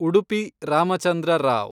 Udupi Ramachandra Rao